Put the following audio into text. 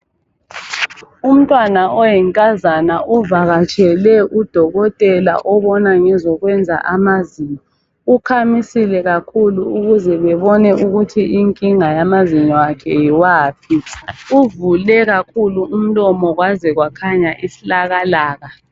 Umntwana oyinkazana uvakatshele udokotela obona ngezokwenza amazinyo. Ukhamisile kakhulu ukuze bebone ukuthi inkinga yamazinyo akhe yiwaphi. Uvule kakhulu umlomo kwaze kwakhanya isilakalaka.